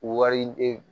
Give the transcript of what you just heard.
U wari